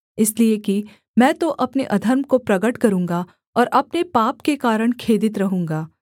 इसलिए कि मैं तो अपने अधर्म को प्रगट करूँगा और अपने पाप के कारण खेदित रहूँगा